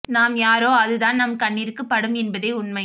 நாம் யாரோ அது தான் நம் கண்ணிற்கு படும் என்பதே உண்மை